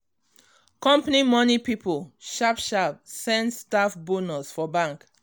company money people sharp sharp send staff bonus for bank